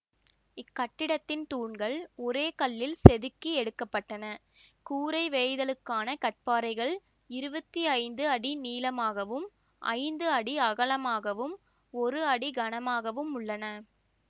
இக்கட்டிடத்தின் தூண்கள் ஒரே கல்லில் செதுக்கி எடுக்க பட்டன கூரை வேய்தலுக்கான கற்பாறைகள் இருபத்தி ஐந்து அடி நீளமாகவும் ஐந்து அடி அகலமாகவும் ஒரு அடி கனமாகவும் உள்ளன